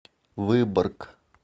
выборг